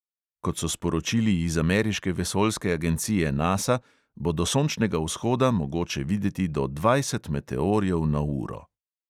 Kot so sporočili iz ameriške vesoljske agencije nasa, bo do sončnega vzhoda mogoče videti do dvajset meteorjev na uro.